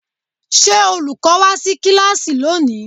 Ṣé olùkọ́ wá sí kíláàsì lónìí?